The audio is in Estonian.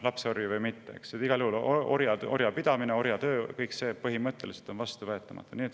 Lapsorje või mitte, igal juhul orjad ja orjapidamine, orjatöö – kõik see on põhimõtteliselt vastuvõetamatu.